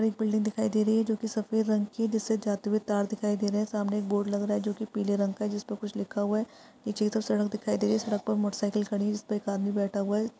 एक बिल्डिंग दिखाई दे रही है जो कि सफेद रंग की है जिससे जाते हुए तार दिखाई दे रहै है। सामने एक बोर्ड लग रहा है जो कि पीले रंग का है जिसपे कुछ लिखा हुआ है। पीछे की तरफ एक सड़क दिखाई दे रही है सड़क पर मोटरसाइकिल खड़ी है जिसपे एक आदमी बैठा हुआ है।